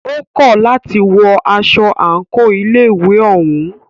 Ó kọ̀ láti wọ aṣọ àńkò ilé ìwé òún.